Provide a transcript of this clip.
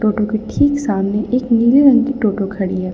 To के ठीक सामने एक नीले रंग की टोटो खड़ी हैं।